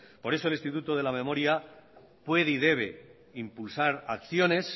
por eso el instituto de la memoria puede y debe impulsar acciones